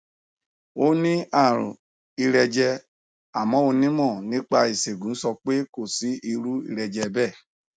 ó ní àrùn ìrẹjẹ àmọ onímọ nípa ìṣègùn sọ pé kò sí irú ìrẹjẹ bẹẹ